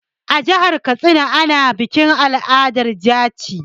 A jihar Katsina ana bikin al'adar jaci.